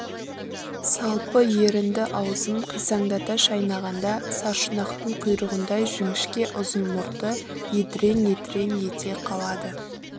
салпы ерінді аузын қисаңдата шайнағанда саршұнақтың құйрығындай жіңішке ұзын мұрты едірең-едірең ете қалады